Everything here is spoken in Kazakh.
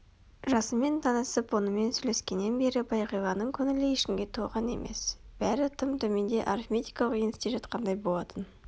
жасынмен танысып онымен сөйлескеннен бері бағиланың көңілі ешкімге толған емес бәрі тым төменде арифметикалық еңісте жатқандай болатын